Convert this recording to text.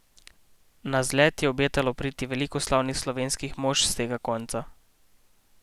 Na zlet je obetalo priti veliko slavnih slovenskih mož s tega konca.